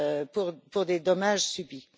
pour les dommages subis.